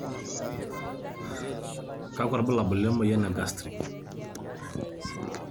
kakua irbulabol le moyian e Gastric?